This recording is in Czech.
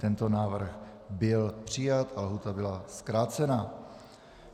Tento návrh byl přijat a lhůta byla zkrácena.